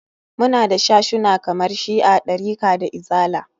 Muna da sashuna kamar shi'a, ɗarika da izala.